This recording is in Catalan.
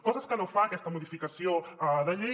coses que no fa aquesta modificació de llei